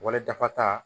Wale dafa ta